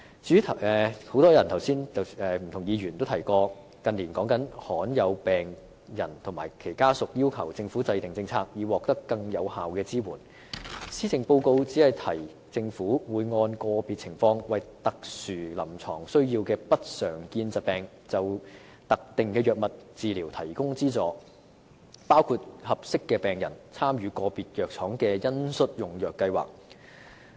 至於很多議員剛才也提到，以及香港近年經常討論的另一範疇，便是罕見疾病病人及其家屬要求政府制訂政策，以期獲得更有效的支援。施政報告只說政府會按個別情況，為有特殊臨床需要的不常見疾病病人就特定藥物治療提供資助，包括讓合適的病人參與個別藥廠的恩恤用藥計劃。